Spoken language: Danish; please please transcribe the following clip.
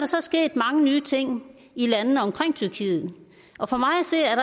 så sket mange nye ting i landene omkring tyrkiet og for mig